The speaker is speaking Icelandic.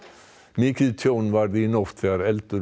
mikið tjón varð í nótt þegar eldur